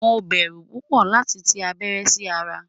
Mo bẹ́rú púpọ̀ lati tì abẹ̀rẹ̀ sí ara